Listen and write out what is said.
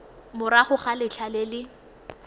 morago ga letlha le le